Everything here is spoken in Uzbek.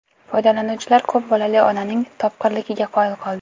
Foydalanuvchilar ko‘p bolali onaning topqirligiga qoyil qoldi.